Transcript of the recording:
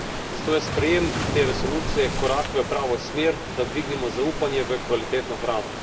Zato je sprejem te resolucije korak v pravo smer, da dvignemo zaupanje v kvalitetno hrano.